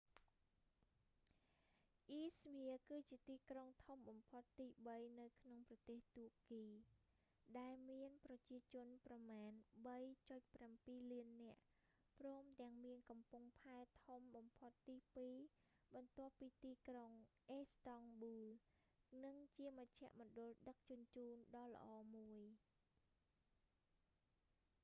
អ៊ីស្មៀគឺជាទីក្រុងធំបំផុតទីបីនៅក្នុងប្រទេសតួកគី ដែលមានប្រជាជនប្រមាណ 3.7 លាននាក់ ព្រមទាំងមានកំពង់ផែធំបំផុតទីពីរបន្ទាប់ពីទីក្រុងអ៊ីស្តង់ប៊ូល និងជាមជ្ឈមណ្ឌលដឹកជញ្ជូនដ៏ល្អមួយ